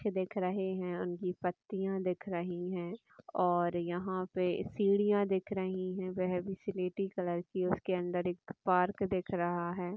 -- दिख रहे हैं उनकी पत्तियाँ दिख रही है और यहाँ पे सीढ़ियाँ दिख रही है वह भी सिलेटी कलर की उसके अंदर एक पार्क दिख रहा है।